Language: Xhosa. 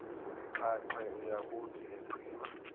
xhaxhe uyakuthi egqiba